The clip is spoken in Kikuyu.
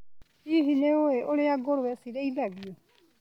Hihi nĩũĩ ũrĩa ngũrũwe cirĩithagio.